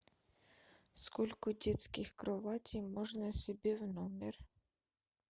сколько детских кроватей можно себе в номер